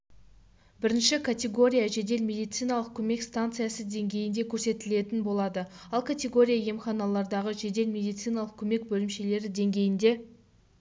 бірінші категорияжедел медициналық көмек станциясы деңгейінде көрсетілетін болады ал категория емханалардағы жедел медициналық көмек бөлімшелері деңгейінде